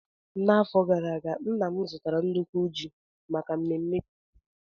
N'afọ gara aga, nna m zụtara nnukwu ji maka mmemme ji ọhụrụ.